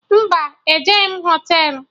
Mba, ejebeghi m Họtelụ